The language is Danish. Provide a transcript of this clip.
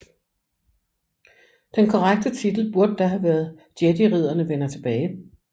Den korrekte titel burde da have været Jediridderne vender tilbage